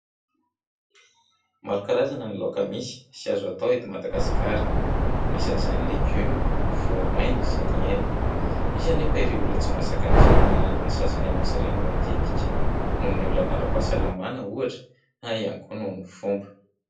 Maro karazana ny laoka misy sy azo atao eto Madagasikara. Anisan'izany ny legioma, ny voamaina sy ny hena. Misy anefa ireo olona tsy mahazaka ny fihinanana ny sasany amin'izy ireny matetika, noho ny olana ara-pahasalamana ohatra na ihany koa noho ny fomba.